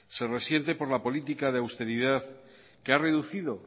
se resiente por la política de austeridad que ha reducido